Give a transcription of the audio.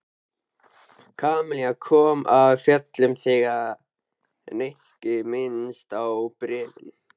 Kamilla kom af fjöllum þegar Nikki minntist á bréfin.